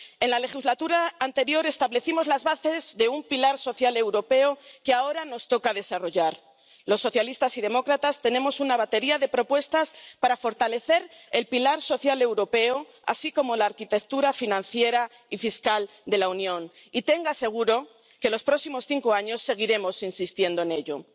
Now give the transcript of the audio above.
En la legislatura anterior establecimos las bases de un pilar social europeo que ahora nos toca desarrollar. Los socialistas y demócratas tenemos una batería de propuestas para fortalecer el pilar social europeo, así como la arquitectura financiera y fiscal de la Unión, y tenga seguro que los próximos cinco años seguiremos insistiendo en ello.